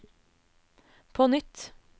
på nytt